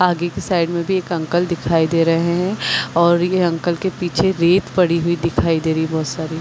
आगे की साइड में भी एक अंकल दिखाई दे रहे है और ये अंकल के पीछे रेत पड़ी हुई दिखाई दे रही है बहुत सारी